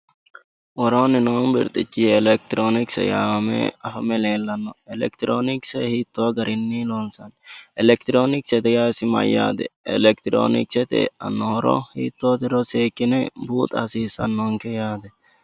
Worooni noo birxichi elekitironkise yaamame afame leellano elekitironkise hiitto garinni loonsanni, elekitironkise ise yaa mayyate, elekitironkisete eano horo seekkine buuxa hasiisanonke yaate.